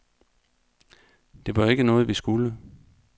Det var jo ikke noget, vi skulle.